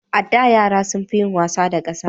A da, yara sun fi yin wasa da ƙasa